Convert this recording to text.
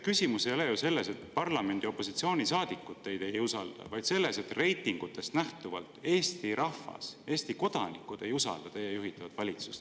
Küsimus ei ole ju selles, et parlamendi opositsioonisaadikud teid ei usalda, vaid selles, et reitingutest nähtuvalt Eesti rahvas, Eesti kodanikud ei usalda teie juhitavat valitsust.